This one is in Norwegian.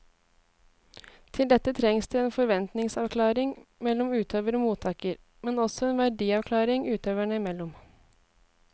Til dette trengs det en forventningsavklaring mellom utøver og mottaker, men også en verdiavklaring utøverne imellom.